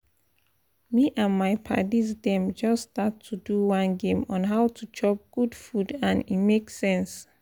me and my padis dem just start to do one game on how to chop good food and e make sense